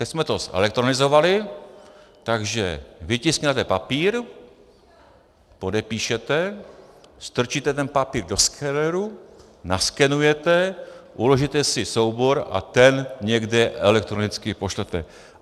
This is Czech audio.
Teď jsme to zelektronizovali, takže vytisknete papír, podepíšete, strčíte ten papír do skeneru, naskenujete, uložíte si soubor a ten někam elektronicky pošlete.